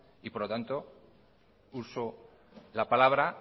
y por lo tanto uso la palabra